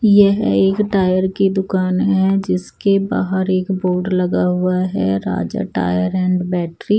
यह एक टायर की दुकान है जिसके बाहर एक बोर्ड लगा हुआ है। Raja tyre and battery --